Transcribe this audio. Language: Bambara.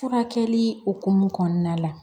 Furakɛli hukumu kɔnɔna la